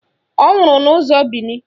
Ọ nwụrụ n'ụzọ Bini